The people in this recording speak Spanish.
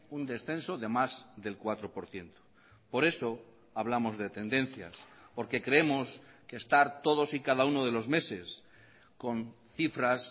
un descenso de más del cuatro por ciento por eso hablamos de tendencias porque creemos que estar todos y cada uno de los meses con cifras